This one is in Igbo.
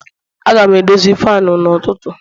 Aga m edozi fanu n'ụtụtụ